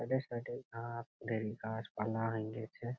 ওদের সাইড এ ঘাস ঢের গাছপালা হঁই গেছে ।.